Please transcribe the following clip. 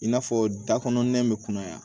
I n'a fɔ da kɔnɔ nɛn bɛ kɔnɔ yan